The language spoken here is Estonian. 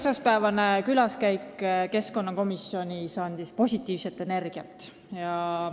Esmaspäevane külaskäik keskkonnakomisjoni andis mulle positiivset energiat.